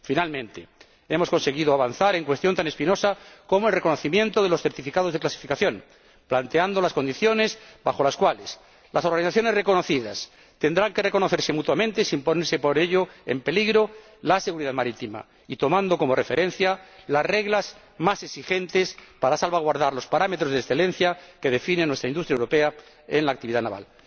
Finalmente, hemos conseguido avanzar en una cuestión tan espinosa como el reconocimiento de los certificados de clasificación, planteando las condiciones bajo las cuales las organizaciones reconocidas tendrán que reconocerse mutuamente, sin poner por ello en peligro la seguridad marítima y tomando como referencia las reglas más exigentes para salvaguardar los parámetros de excelencia que definen nuestra industria europea en la actividad naval.